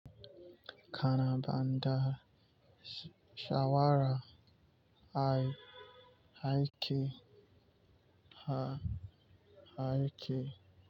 Kana banada shawara a aiki?